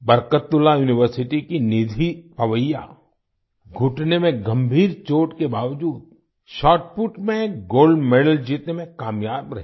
Barkatullah university की निधि पवैया घुटने में गंभीर चोट के बावजूद शॉटपुट में गोल्ड मेडल जीतने में कामयाब रही